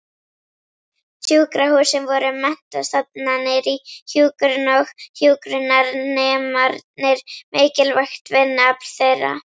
Sjúkrahúsin voru menntastofnanir í hjúkrun og hjúkrunarnemarnir mikilvægt vinnuafl þeirra.